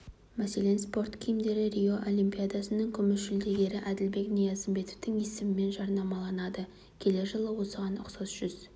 мәселен спорт киімдері рио олимпиадасының күміс жүлдегері әділбек ниязымбетовтың есімімен жарнамаланады келер жылы осыған ұқсас жүз